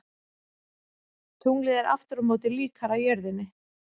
Tunglið er aftur á móti líkara jörðinni.